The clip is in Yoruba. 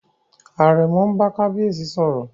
Àrẹ̀mọ n bá kábíyèsí sọ̀rọ̀